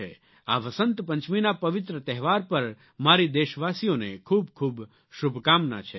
આ વસંત પંચમીના પવિત્ર તહેવાર પર મારી દેશવાસીઓને ખૂબખૂબ શુભકામના છે